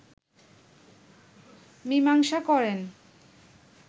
মীমাংসা করেন